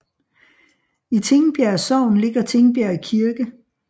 I Tingbjerg Sogn ligger Tingbjerg Kirke